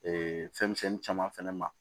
Ee fɛn misɛnnin caman fɛnɛ ma